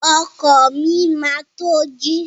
Ọkọ mi máa to ji.